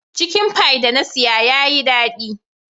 Chicken pie da na siya ya Yi dadi.